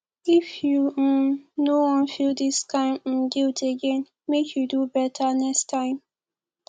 if you um no wan feel dis kain um guilt again make you do beta next time